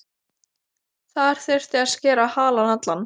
Þar þyrfti að skera halann allan.